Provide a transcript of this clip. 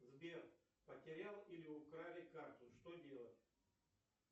сбер потерял или украли карту что делать